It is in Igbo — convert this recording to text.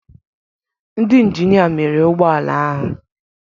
Ndị injinia mere ụgbọ ala ahụ.